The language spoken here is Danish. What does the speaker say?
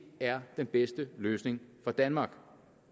er den bedste løsning for danmark